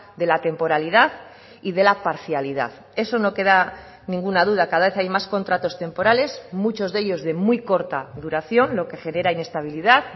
de la temporalidad y de la parcialidad eso no queda ninguna duda cada vez hay más contratos temporales muchos de ellos de muy corta duración lo que genera inestabilidad